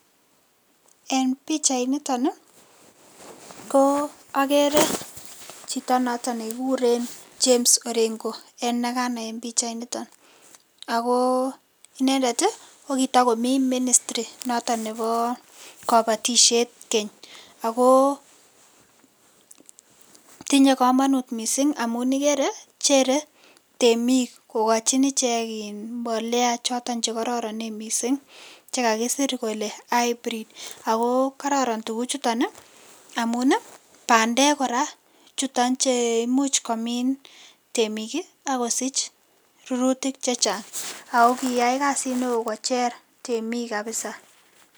En bichait niton ko akeree Chito noton nekikuren James orengo enekanai en bichait niton ako inendet kokitakomi ministri Nebo kabatishet ako tinye kamanut mising amun igere temik kokachin ichek mbolea choton chekororonek mising chekakisir Kole hybrid ako kararan tuguk chuton amun bandek kora chuton cheimuch komin vtemik akosich rururtik chechang akokiyai kasit non Chek temik kabisa